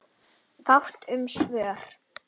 Fátt um svör.